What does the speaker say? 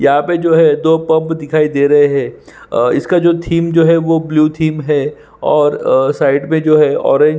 यहाँ पे जो है दो पब दिखाई दे रहै है और इसका जो थीम है वो ब्लू थीम है और अ साइड पे जो हैं ऑरेंज --